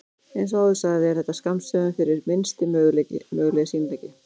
Eins og áður sagði er þetta skammstöfun fyrir Minnsti mögulegi sýnileiki.